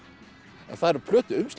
það eru